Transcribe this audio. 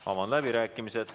Avan läbirääkimised.